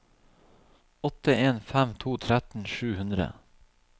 åtte en fem to tretten sju hundre